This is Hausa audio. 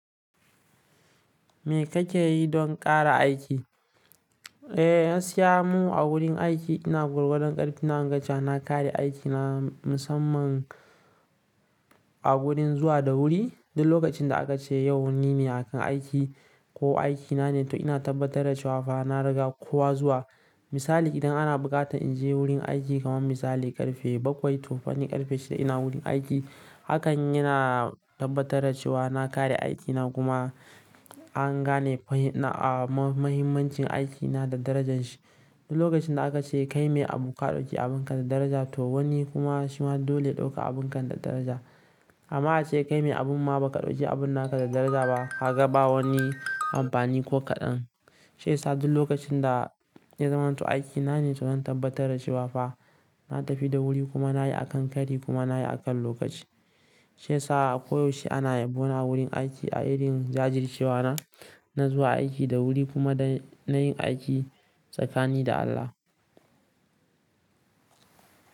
Me kake yi don ƙara aiki? Eh, na gaskiya mu a wurin aiki. Ina gwargwadon ƙarfi na, in ga cewa na, kare aikina musamman a gurin zuwa da wuri. Duk lokacin da aka ce yau ni ne a kan aiki ko aikina ne, to ina tabbatar da cewa fa na riga kowa zuwa. Misali, idan ana buƙata in je wurin aiki, kaman misali ƙarfe bakwai, to fanni ƙarfe shida ina wurin aiki. Hakan yana tabbatar da cewa na kare aiki na kuma an gane mahimmancin aiki na da darajan shi. Duk lokacin da aka ce kai mai abu ka ɗauki abunka da daraja, to wani kuma shi ma dole ya ɗauka abunka da daraja. Hama ace kai mai abun ma ba ka ɗauki abun naka da daraja ba, kaga ba wani amfani ko kaɗan. Sai sa duk lokacin da ya zaman to aikina ne, to zan tabbatar da cewa fa na tafi da wuri kuma na yi a kan kari kuma na yi a kan lokaci. Sai sa koyaushe ana yabona wurin aiki a irin jajircewa na, na zuwa aiki da wuri kuma da nayin aiki tsakani da Allah.